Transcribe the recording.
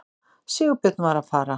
Sigurbjörn var að fara.